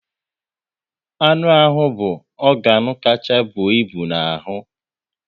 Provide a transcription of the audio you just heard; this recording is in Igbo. Anụ ahụ bụ ọganu kachasị bụọ ịbụ n'ahụ